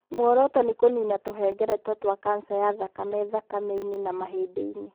Muoroto nĩ kũniina tũhengereta twa kanca ya thakame thakame-inĩ na mahĩndĩ-inĩ.